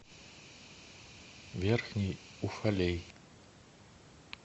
верхний уфалей